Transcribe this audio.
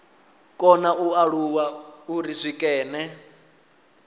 kona u alula uri zwikene